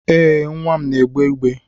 Ee, nwa m n'egbe igbe.